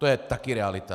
To je taky realita.